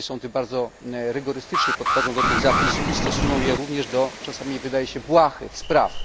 Polskie sądy bardzo rygorystycznie podchodzą do tych zapisów i stosują je również do, czasami wydawałoby się, błahych spraw.